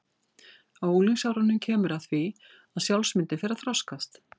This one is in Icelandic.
Á unglingsárunum kemur að því að sjálfsmyndin fer að þroskast.